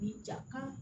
Ni ja kan